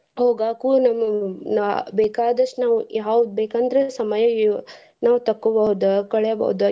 ಹೋಗಾಕೂ ನಮ್~ ಬೇಕಾದಸ್ಟು ನಾವ್ ಯಾವ್ಗ ಬೇಕಂದ್ರ ಸಮಯ ನಾವ್ ತಕ್ಕೋಬೌದ್ ಕಳಿಬೋದ್.